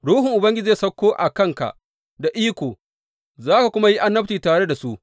Ruhun Ubangiji zai sauko a kanka da iko, za ka kuma yi annabci tare da su.